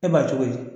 E b'a cogo di